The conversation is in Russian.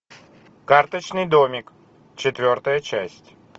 карточный домик четвертая часть